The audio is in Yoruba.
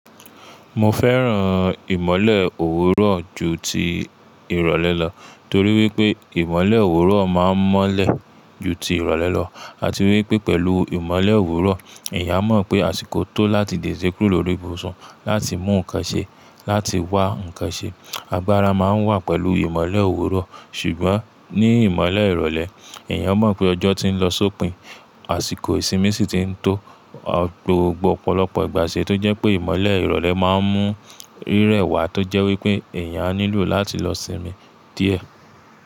Mo fẹ́ràn ìmọ̀le òwúrọ̀ ju ti ìrọ̀lẹ́ lọ, torí wípé ìmọ̀le òwúrọ̀ máa ń mọ́lẹ̀ ju ti ìrọ̀lẹ́ lọ. Àti wípé pẹ̀lú ìmọ̀le òwúrọ̀, èèyàn mọ̀ pé àsìkò tó láti di de kúrò lórí ibùsùn, láti mú ǹkan ṣe, láti wá ǹkan ṣe. Agbára máa ń wà pẹ̀lú ìmọ̀le òwúrọ̀. Ṣùgbọ́n ní ìmọ̀le ìrọ̀lẹ́, èèyàn mọ̀ pé ọjọ́ ti ń lọ sópin, àsìkò ìsinmi sì ti ń tó. Gbogbo ọ̀pọ̀lọpọ̀ ìgbà ṣe tó jẹ́ pé ìmọ̀le ìrọ̀lẹ́ máa ń mú rírẹ wà tó jẹ́ wípé èèyàn á nílò láti lọ sinmi díẹ̀.